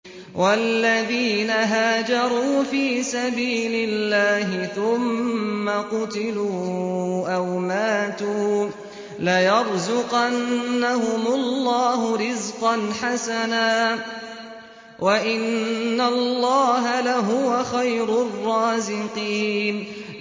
وَالَّذِينَ هَاجَرُوا فِي سَبِيلِ اللَّهِ ثُمَّ قُتِلُوا أَوْ مَاتُوا لَيَرْزُقَنَّهُمُ اللَّهُ رِزْقًا حَسَنًا ۚ وَإِنَّ اللَّهَ لَهُوَ خَيْرُ الرَّازِقِينَ